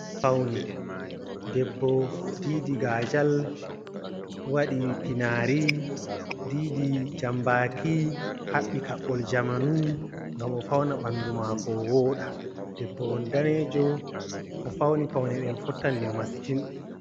Paune, debbo didi gaajal, waɗi pinaari, didi jambaki, haɓɓi kaɓɓol jamanu, ngam o fauna ɓandu mako o wooɗa. Debbo on daneejo, o fauni paune ɗen fottani mo masitin.